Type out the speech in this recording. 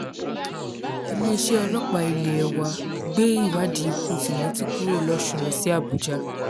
iléeṣẹ́ ọlọ́pàá ilẹ̀ ẹ wa gbé ìwádìí ikú cs] timothy kúrò lọ́ṣùn lọ sí àbújá